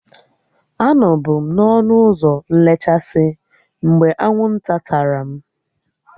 Anọbu m n'ọnụ ụzọ nlechasị mgbe anwụ nta tara m